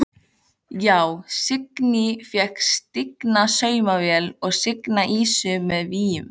Já: Signý fékk stigna saumavél og signa ýsu með víum.